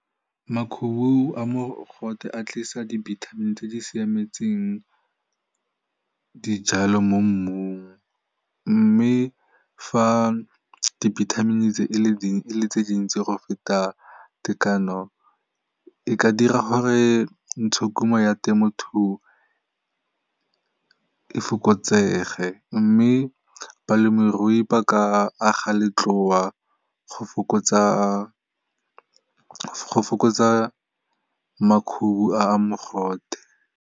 Makhubu a mogote a tlisa dibithamini tse di siametseng dijalo mo mmung mme fa dibithamini tse e le tse dintsi go feta tekano e ka dira gore ntshokuno ya temothuo e fokotsege mme balemirui ba ka aga letloa go fokotsa makhubu a mogote.